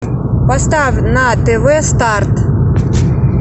поставь на тв старт